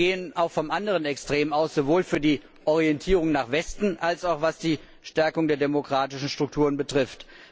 Diese gehen aber auch vom anderen Extrem aus, sowohl für die Orientierung nach Westen als auch was die Stärkung der demokratischen Strukturen betrifft.